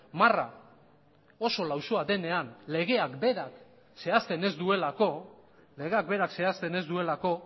marra oso lausoa denean legeak berak zehazten ez duelako